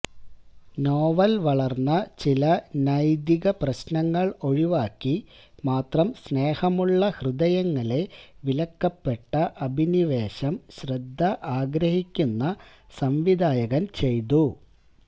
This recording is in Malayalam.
നോവൽ വളർന്ന ചില നൈതിക പ്രശ്നങ്ങൾ ഒഴിവാക്കി മാത്രം സ്നേഹമുള്ള ഹൃദയങ്ങളെ വിലക്കപ്പെട്ട അഭിനിവേശം ശ്രദ്ധ ആഗ്രഹിക്കുന്ന സംവിധായകൻ ചെയ്തു